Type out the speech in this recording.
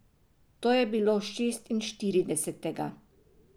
To je bilo šestinštiridesetega.